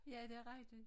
Ja det rigtigt